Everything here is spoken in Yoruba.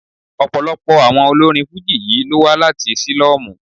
Ọ̀pọ̀lọpọ̀ àwọn olórin Fújì yí ló wá láti sílọ́mù.